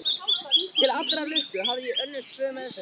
Til allrar lukku hafði ég önnur tvö meðferðis.